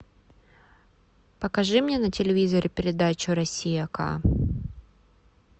покажи мне на телевизоре передачу россия к